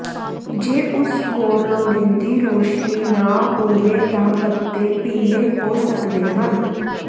ਜੇ ਉਸ ਕੋਲ ਲੋੜੀਂਦੀ ਰੌਸ਼ਨੀ ਨਾ ਹੋਵੇ ਤਾਂ ਪੱਤੇ ਪੀਲੇ ਹੋ ਸਕਦੇ ਹਨ